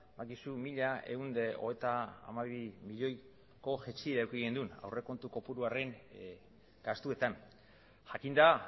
badakizu mila ehun eta hogeita hamabi milioiko jaitsiera eduki genuela aurrekontu kopuruaren gastuetan jakinda